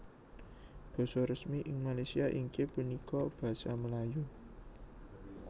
Basa resmi ing Malaysia inggih punika Basa Melayu